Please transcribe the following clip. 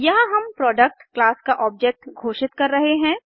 यहाँ हम product class का ऑब्जेक्ट घोषित कर रहे हैं